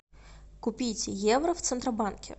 купить евро в центробанке